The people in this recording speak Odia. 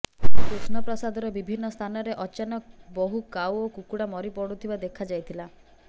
କୃଷ୍ଣପ୍ରସାଦର ବିଭିନ୍ନ ସ୍ଥାନରେ ଅଚାନକ ବହୁ କାଉ ଓ କୁକୁଡା ମରି ପଡୁଥିବା ଦେଖା ଯାଇଥିଲା